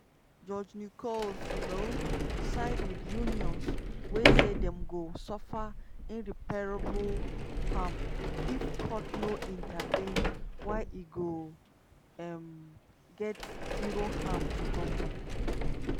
judge nichols um side wit unions wey say dem go suffer "irreparable harm" if court no intervene while e go um get "zero harm to goment".